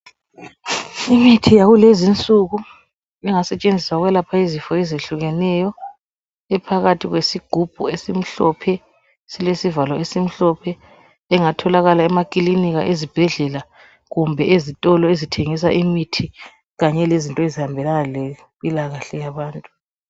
Imithi yakulezinsuku engasetshenziswa ukwelapha izifo ezihlukeneyo iphakathi kwesigumbu esimhlophe silesivalo esimhlophe engatholakala emaklinika, ezibhedlela, lezitolo ezingathengisa imithi kanye lezinto ezihambelana lempila kahle yabantu.